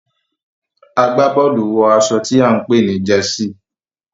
agbaboolu wọ aṣọ tí a npè ni Jersey.